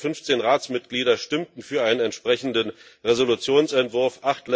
Nur sieben der 15 Ratsmitglieder stimmten für einen entsprechenden Resolutionsentwurf.